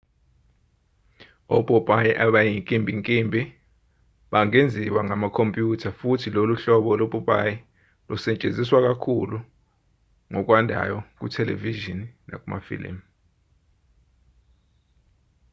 opopayi abayinkimbinkimbi bangenziwa ngamakhompyutha futhi lolu hlobo lopopayi lusetshenziswa ngokwandayo kuthelevishini nakumafilimu